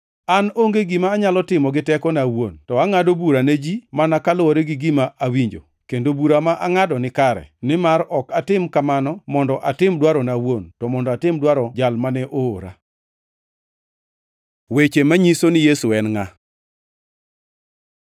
An onge gima anyalo timo gi tekona awuon, to angʼado bura ne ji mana kaluwore gi gima awinjo, kendo bura ma angʼado nikare, nimar ok atim kamano mondo atim dwarona awuon, to mondo atim dwaro Jal mane oora. Weche manyiso ni Yesu en ngʼa